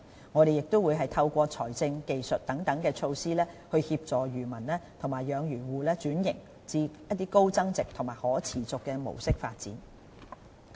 我們亦會透過財政、技術等措施，協助漁民及養魚戶轉型至高增值及可持續的模式發展。